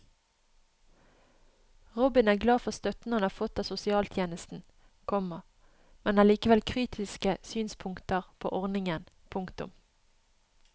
Robin er glad for støtten han har fått av sosialtjenesten, komma men har likevel kritiske synspunkter på ordningen. punktum